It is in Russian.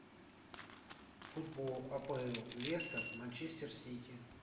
футбол апл лестер манчестер сити